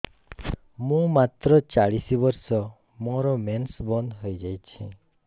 ମୁଁ ମାତ୍ର ଚାଳିଶ ବର୍ଷ ମୋର ମେନ୍ସ ବନ୍ଦ ହେଇଯାଇଛି